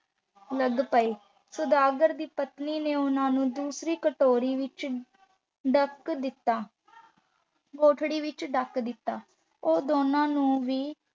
ਲੱਗ ਪਏ ਸੁਦਾਗਰ ਦੀ ਪਤਨੀ ਨੇ ਉਹਨਾਂ ਨੂੰ ਦੂਸਰੀ ਕਟੋਰੀ ਵਿੱਚ ਡੱਕ ਦਿੱਤਾ। ਕੋਠੜੀ ਵਿੱਚ ਡੱਕ ਦਿੱਤਾ।